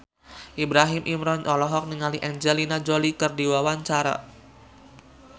Ibrahim Imran olohok ningali Angelina Jolie keur diwawancara